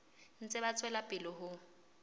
ntse ba tswela pele ho